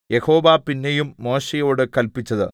യഹോവ പിന്നെയും മോശെയോട് കല്പിച്ചത്